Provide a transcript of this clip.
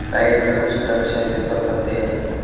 Side में कुछ वृक्ष है जिन पर पत्ते नहीं है।